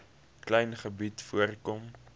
klein gebied voorkom